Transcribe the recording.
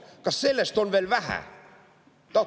Kas sellest on veel vähe?!